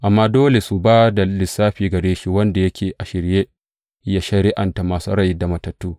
Amma dole su ba da lissafi gare shi wanda yake a shirye yă shari’anta masu rai da matattu.